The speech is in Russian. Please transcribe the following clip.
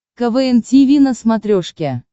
квн тиви на смотрешке